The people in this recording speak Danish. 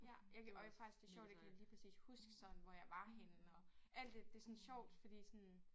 Ja jeg kan og det var faktisk det sjovt jeg kan lige præcis huske sådan hvor jeg var henne og alt det det sådan sjovt fordi sådan